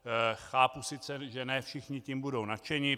Chápu sice, že ne všichni tím budou nadšeni.